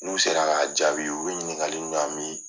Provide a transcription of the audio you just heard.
N'u sera k'a jaabi u bɛ ɲininkaliw ɲa min